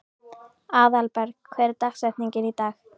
Aðalberg, hver er dagsetningin í dag?